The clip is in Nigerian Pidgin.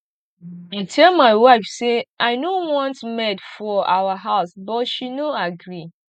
i tell my wife say i no want maid for our house but she no agree